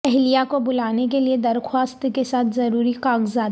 اہلیہ کو بلانے کے لیے درخواست کے ساتھ ضروری کاغذات